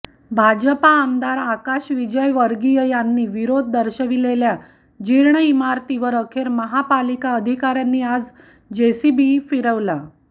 भाजपा आमदार आकाश विजयवर्गीय यांनी विरोध दर्शविलेल्या जीर्ण इमारतीवर अखेर महापालिका अधिकाऱयांनी आज जेसीबीने फिरवला